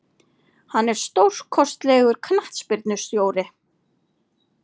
Hann er stórkostlegur knattspyrnustjóri.